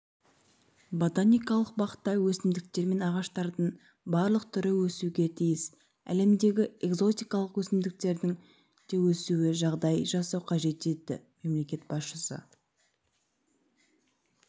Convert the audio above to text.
ботаникалық бақта өсімдіктер пен ағаштардың барлық түрі өсуге тиіс әлемдегі экзотикалық өсімдіктердің де өсуіне жағдай жасау қажет деді мемлекет басшысы